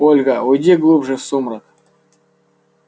ольга уйди глубже в сумрак